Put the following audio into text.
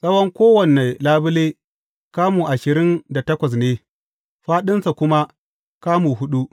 Tsawon kowane labule, kamu ashirin da takwas ne, fāɗinsa kuma kamu huɗu.